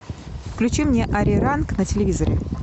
включи мне ариранг на телевизоре